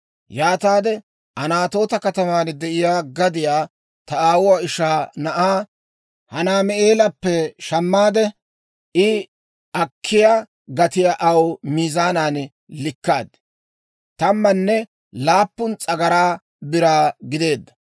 Yaataade Anatoota kataman de'iyaa gadiyaa ta aawuwaa ishaa na'aa Hanaami'eelappe; shammaade I akkiyaa gatiyaa aw miizaanan likkaad; tammanne laappun s'agaraa biraa gideedda.